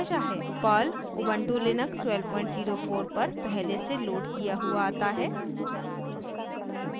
Perl Ubuntu Linux 1204 पर पहले से लोड किया हुआ आता है